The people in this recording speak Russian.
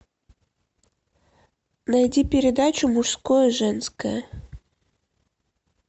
найди передачу мужское женское